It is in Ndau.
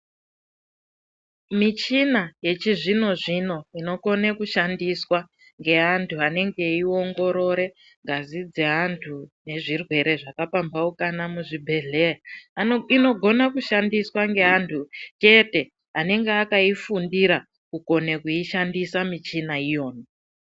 Michina yechizvino-zvino, inokone kushandiswa, ngeantu anenge eiongorore ngazi dzeantu ,nezvirwere zvakapamphaukana muzvibhedhleya, Ano inogona kushandiswa ngeantu chete, anenga akaifundira kukone kuishandisa michina iyona.